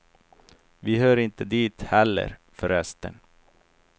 Vi hör inte dit heller, förresten.